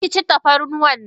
Karkaci tafarnuwannan.!